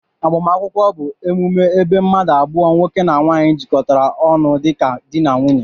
Agbamakwụkwọ bu emume ebee mmadu abụọ( nwoke na nwanyi)jikọtara onụ dika di n'nwunye